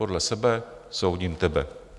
Podle sebe soudím tebe.